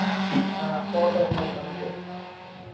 ஆ photo இருந்தா எடுத்து அனுப்பு